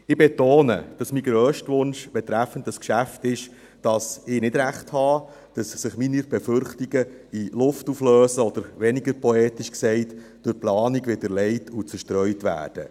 Ich betone, dass mein grösster Wunsch betreffend dieses Geschäft ist, dass ich nicht Recht habe, sondern dass sich meine Befürchtungen in Luft auflösen oder – weniger poetisch gesagt – durch die Planung widerlegt und zerstreut werden.